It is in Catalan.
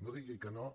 no digui que no